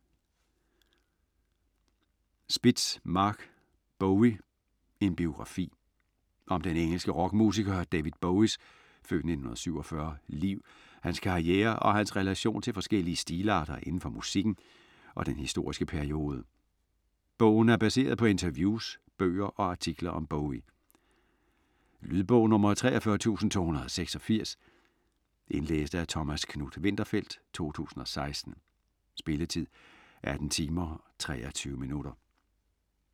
Spitz, Marc: Bowie: en biografi Om den engelske rockmusiker David Bowies (f. 1947) liv, hans karriere og hans relation til forskellige stilarter inden for musikken og den historiske periode. Bogen er baseret på interviews, bøger og artikler om Bowie. Lydbog 43286 Indlæst af Thomas Knuth-Winterfeldt, 2016. Spilletid: 18 timer, 23 minutter.